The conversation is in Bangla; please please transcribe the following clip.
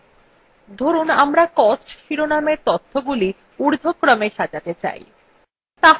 ধরুন আমরা costs শিরোনামের তথ্যগুলি ঊর্ধ্বক্রমে সাজাতে চাই